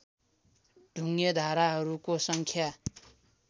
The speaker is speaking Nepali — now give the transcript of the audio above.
ढुङ्गे धाराहरूको सङ्ख्या